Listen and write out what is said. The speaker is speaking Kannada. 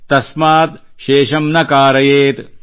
ತಸ್ಮಾತ್ ಶೇಷಮ್ ನ ಕಾರಯೇತ್